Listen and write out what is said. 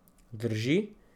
Drži.